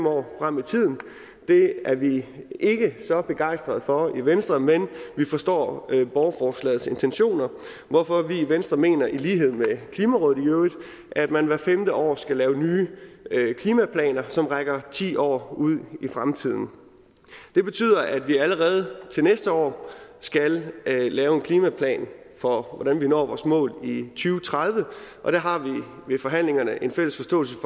år frem i tiden det er vi ikke så begejstrede for i venstre men vi forstår borgerforslagets intentioner hvorfor vi i venstre mener i lighed med klimarådet at man hvert femte år skal lave nye klimaplaner som rækker ti år ud i fremtiden det betyder at vi allerede til næste år skal lave en klimaplan for hvordan vi når vores mål og tredive og der har vi ved forhandlingerne en fælles forståelse